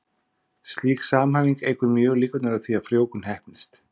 Slík samhæfing eykur mjög líkurnar á því að frjóvgun heppnist.